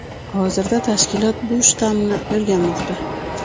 Hozirda tashkilot bu shtammni o‘rganmoqda .